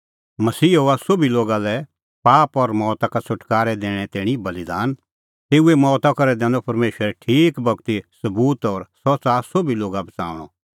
मसीहा हुअ सोभी लोगा लै पाप और मौता का छ़ुटकारै दैणें तैणीं बल़ीदान तेऊए मौता करै दैनअ परमेशरै ठीक बगती सबूत कि सह च़ाहा सोभी लोगा बच़ाऊंणअ